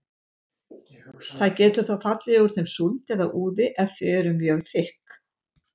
Það getur þó fallið úr þeim súld eða úði ef þau eru mjög þykk.